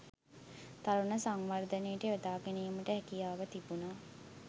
තරුණ සංවර්ධනයට යොදා ගැනීමට හැකියාව තිබුණා.